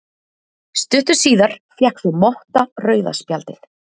Stuttu síðar fékk svo Motta rauða spjaldið.